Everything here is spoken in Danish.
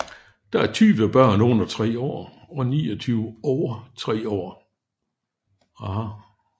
Der er 20 børn under 3 år og 29 over 3 år